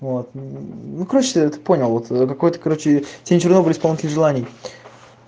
вот ну короче ты это понял вот какой-то короче тень чернобыля исполнитель желаний